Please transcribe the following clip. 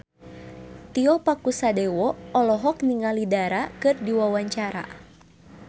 Tio Pakusadewo olohok ningali Dara keur diwawancara